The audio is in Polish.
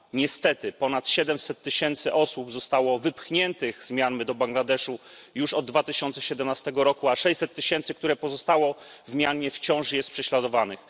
Niestety ponad 700 tysięcy osób zostało wypchniętych z Mjanmy do Bangladeszu już od 2017 roku, a 600 tysięcy, które pozostało w Mjanmie, wciąż jest prześladowanych.